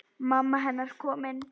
Mamma hennar komin.